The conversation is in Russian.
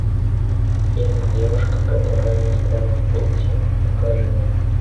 фильм девушка которая застряла в паутине покажи мне